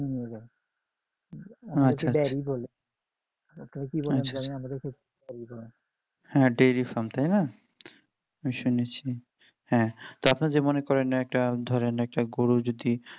হ্যাঁ dairy farm তাই না আমি শুনেছি হ্যাঁ আপনারা মনে করেন একটা ধরেন একটা গরু যদি